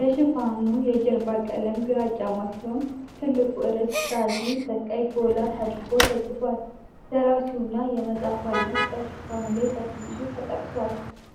የሽፋኑ የጀርባ ቀለም ግራጫማ ሲሆን፣ ትልቁ ርዕስ ዛዚ በቀይ ጎላ ተደርጎ ተጽፏል። ደራሲውና የመጽሐፉ ዓይነት በሽፋኑ ላይ በትንሹ ተጠቅሷል።